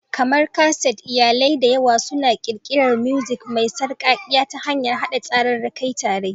Kamar kaset, iyalai da yawa suna ƙirƙirar mosaic mai sarƙaƙƙiya ta hanyar haɗa tsararraki tare.